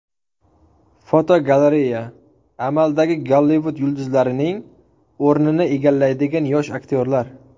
Fotogalereya: Amaldagi Gollivud yulduzlarining o‘rnini egallaydigan yosh aktyorlar.